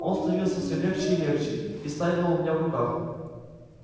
он становился всё легче и легче истаивал у меня в руках